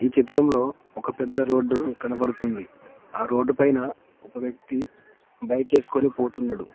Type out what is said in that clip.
చిత్రంలో ఒక పెద్ద రోడ్డు కనబడుతుంది ఆ రోడ్డుపైన ఒక వ్యక్తి బైక్ ఏసుకొని పోతున్నడు.